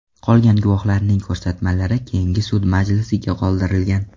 Qolgan guvohlarning ko‘rsatmalari keyingi sud majlisiga qoldirilgan.